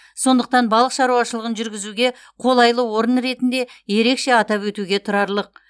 сондықтан балық шаруашылығын жүргізуге қолайлы орын ретінде ерекше атап өтуге тұрарлық